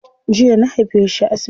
Jiya na haife shi a asibiti.